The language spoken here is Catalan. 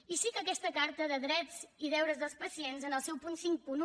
i sí que aquesta carta de drets i deures dels pacients en el seu punt cinquanta un